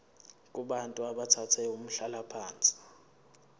kubantu abathathe umhlalaphansi